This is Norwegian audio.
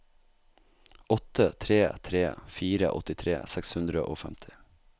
åtte tre tre fire åttitre seks hundre og femti